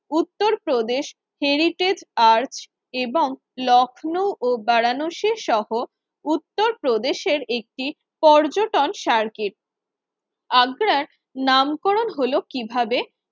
Uttar Pradesh heritage arch এবং লখনৌ ও বারানসি সহ উত্তরপ্রদেশের একটি পর্যটন সার্কিট আগ্রার নামকরণ হলো কিভাবে?